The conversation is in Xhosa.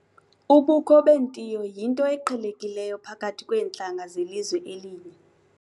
Ubukho bentiyo yinto eqhelekileyo phakathi kweentlanga zelizwe elinye.